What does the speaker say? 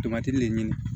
Tomati ne ɲini